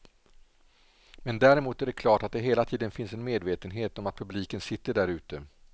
Men däremot är det klart att det hela tiden finns en medvetenhet om att publiken sitter där ute.